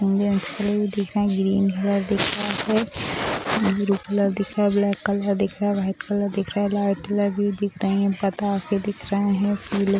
भी दिख रहे हैं ग्रीन कलर दिख रहा है ब्लू कलर दिख रहा है ब्लैक कलर दिख रहा है वाइट कलर दिख रहा है लाइट कलर भी दिख रही हैं पता भी दिख रहा है फू --